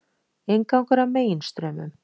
Inngangur að Meginstraumum